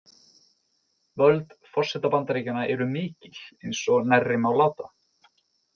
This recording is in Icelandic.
Völd forseta Bandaríkjanna eru mikil, eins og nærri má láta.